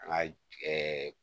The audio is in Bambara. An ka ɛɛ